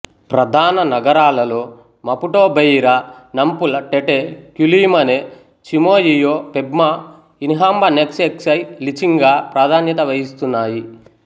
ప్రధాన నగరాలలో Maputo Beira Nampula Tete Quelimane Chimoio Pemba Inhambane Xai-Xai Lichinga ప్రాధాన్యత వహిస్తున్నాయి